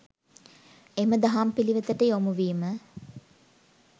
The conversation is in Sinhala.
එම දහම් පිළිවෙතට යොමුවීම